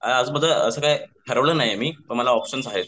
ठरवलं नाहीये मी पण मला ऑप्शन्स आहेत.